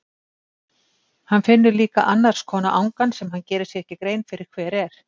Hann finnur líka annars konar angan sem hann gerir sér ekki grein fyrir hver er.